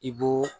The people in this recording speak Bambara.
I b'o